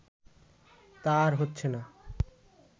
তা আর হচ্ছেনা